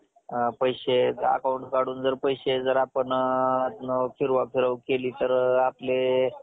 पैसे account काढून जर पैसे फिरवा फिरव केली तर आपले